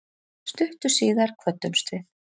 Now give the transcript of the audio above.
Stuttu síðar kvöddumst við.